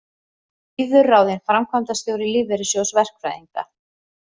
Auður ráðin framkvæmdastjóri Lífeyrissjóðs verkfræðinga